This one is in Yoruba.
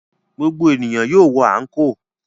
Gbogbo ènìyàn yóò wọ àńkò.